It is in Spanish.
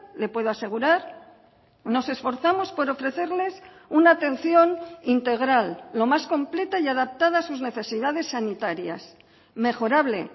le puedo asegurar nos esforzamos por ofrecerles una atención integral lo más completa y adaptada a sus necesidades sanitarias mejorable